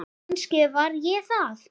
Og kannski var ég það.